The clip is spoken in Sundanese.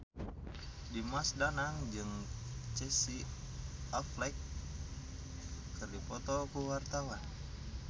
Dimas Danang jeung Casey Affleck keur dipoto ku wartawan